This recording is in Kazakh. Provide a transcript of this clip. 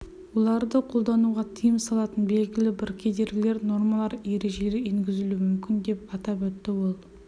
оларды қолдануға тыйым салатын белгілі бір кедергілер нормалар ережелер енгізілуі мүмкін деп атап өтті ол